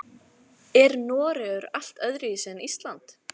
Er Noregur allt öðruvísi en Ísland?